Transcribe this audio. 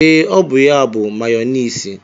Ee, ọ ya bụ mayọniisi.